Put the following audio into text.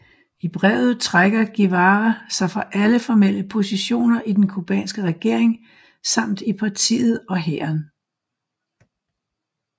I brevet trækker Guevara sig fra alle formelle positioner i den cubanske regering samt i partiet og hæren